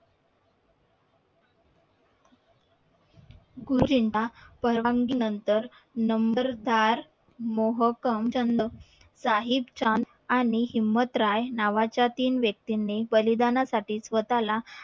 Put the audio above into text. गुरुजींना परवानगी नंतर नंबरदार मोहकमचंद साहिब चांद आणि नावा च्या तीन व्यक्ती नि बलिदानासाठी स्वतःला